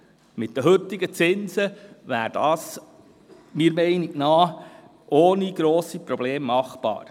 Aufgrund der heutigen Zinse wäre das ohne grosse Probleme machbar.